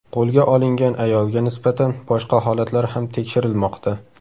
Qo‘lga olingan ayolga nisbatan boshqa holatlar ham tekshirilmoqda.